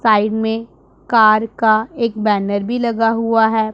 Side में car का एक बैनर भी लगा हुआ है।